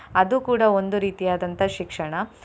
ಅದು ಕೂಡಾ ಒಂದು ರೀತಿಯಾದಂತಹ ಶಿಕ್ಷಣ.